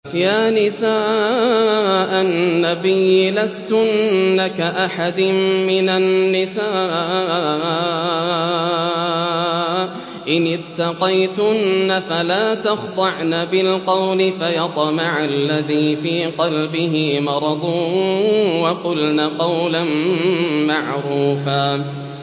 يَا نِسَاءَ النَّبِيِّ لَسْتُنَّ كَأَحَدٍ مِّنَ النِّسَاءِ ۚ إِنِ اتَّقَيْتُنَّ فَلَا تَخْضَعْنَ بِالْقَوْلِ فَيَطْمَعَ الَّذِي فِي قَلْبِهِ مَرَضٌ وَقُلْنَ قَوْلًا مَّعْرُوفًا